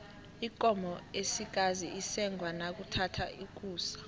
ikomo esikazi isengwa nakuthatha ukusa